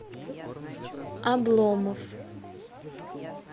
обломов